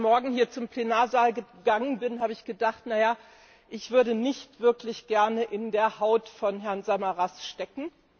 Als ich heute Morgen hier zum Plenarsaal gegangen bin, habe ich gedacht Na ja, ich würde nicht wirklich gerne in der Haut von Herrn Samaras stecken.